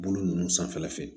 Bolo ninnu sanfɛla fɛ